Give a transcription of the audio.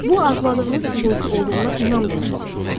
Bu, arzuladığınız sizinki olduğuna inam deməkdir.